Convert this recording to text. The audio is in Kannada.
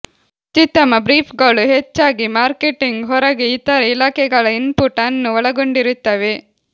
ಅತ್ಯುತ್ತಮ ಬ್ರೀಫ್ಗಳು ಹೆಚ್ಚಾಗಿ ಮಾರ್ಕೆಟಿಂಗ್ ಹೊರಗೆ ಇತರ ಇಲಾಖೆಗಳ ಇನ್ಪುಟ್ ಅನ್ನು ಒಳಗೊಂಡಿರುತ್ತವೆ